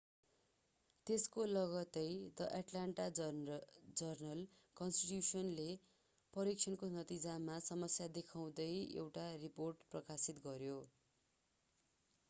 त्यसको लगत्तै the Atlanta जर्नल-कन्स्टिट्यूशनले परीक्षणको नतिजामा समस्या देखाउँदै एउटा रिपोर्ट प्रकाशित गर्‍यो।